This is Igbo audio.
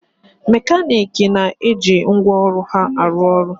Mekaniiki na-eje ngwaọrụ ha arụ ọrụ